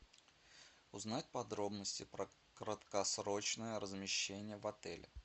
узнать подробности про краткосрочное размещение в отеле